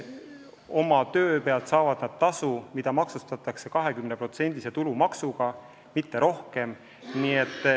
Oma töö pealt saavad nad tasu, mida maksustatakse 20% tulumaksuga, mitte rohkem.